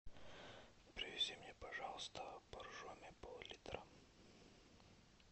привези мне пожалуйста боржоми пол литра